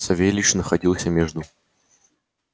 савельич находился между